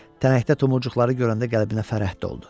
Tənəkdə tumurcuqları görəndə qəlbinə fərəh doldu.